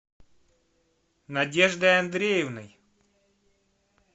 надеждой андреевной